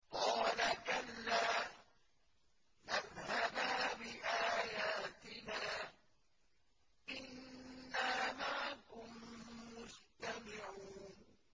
قَالَ كَلَّا ۖ فَاذْهَبَا بِآيَاتِنَا ۖ إِنَّا مَعَكُم مُّسْتَمِعُونَ